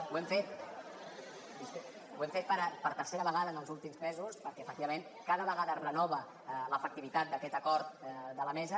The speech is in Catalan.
ho hem fet per tercera vegada en els últims mesos perquè efectivament cada vegada es renova l’efectivitat d’aquest acord de la mesa